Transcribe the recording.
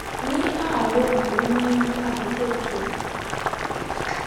ní àárọ ló máa n yí àkókò tó